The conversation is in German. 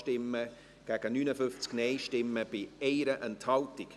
FiKo-Minderheit [Wyrsch, Jegenstorf])